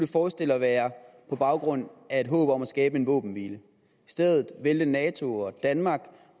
forestille at være på baggrund af et håb om at skabe en våbenhvile i stedet valgte nato og danmark